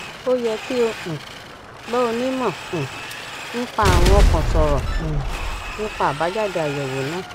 ó yẹ kí o um bá onímọ um nípa àrùn ọkàn sọrọ um nípa àbájáde àyèwò náà